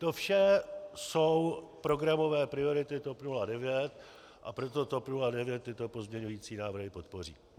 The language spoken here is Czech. To vše jsou programové priority TOP 09, a proto TOP 09 tyto pozměňující návrhy podpoří.